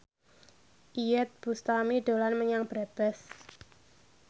Iyeth Bustami dolan menyang Brebes